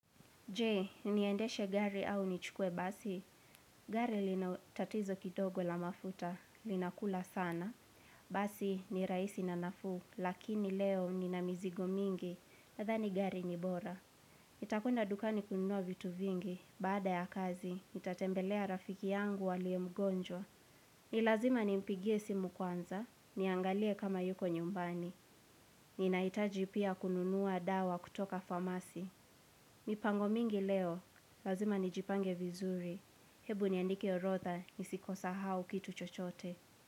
Je, niendeshe gari au nichukuwe basi? Gari lina tatizo kidogo la mafuta, linakula sana. Basi ni rahisi na nafuu, lakini leo nina mizigo mingi. Nadhani gari ni bora. Nitakuenda dukani kununua vitu vingi. Baada ya kazi, nitatembelea rafiki yangu aliye mgonjwa. Ni lazima nimpigie simu kwanza. Niangalie kama yuko nyumbani. Ninahitaji pia kununua dawa kutoka famasi. Mipango mingi leo. Lazima nijipange vizuri. Hebu niandike orodha nisikusahau kitu chochote.